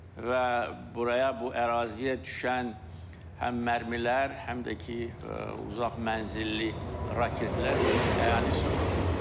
Və buraya bu əraziyə düşən həm mərmilər, həm də ki, uzaq mənzilli raketlər bunun əyani sübutudur.